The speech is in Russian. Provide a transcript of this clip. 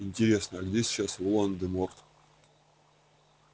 интересно а где сейчас волан-де-морт